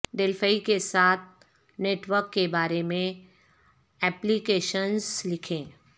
Delphi کے ساتھ network کے بارے میں ایپلیکیشنز لکھیں